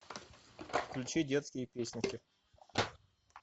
включи детские песенки